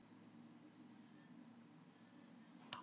Hvernig er best að geyma stafræn gögn?